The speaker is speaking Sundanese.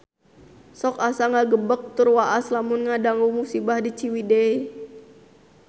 Sok asa ngagebeg tur waas lamun ngadangu musibah di Ciwidey